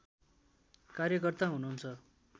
कार्यकर्ता हुनुहुन्छ